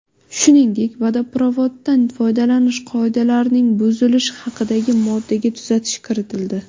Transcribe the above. Shuningdek, vodoprovoddan foydalanish qoidalarining buzilishi haqidagi moddaga tuzatish kiritildi.